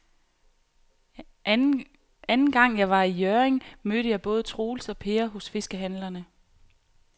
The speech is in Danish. Anden gang jeg var i Hjørring, mødte jeg både Troels og Per hos fiskehandlerne.